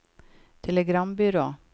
telegrambyrå